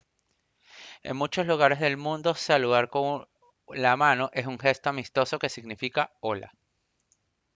en muchos lugares del mundo saludar con la mano es un gesto amistoso que significa «hola»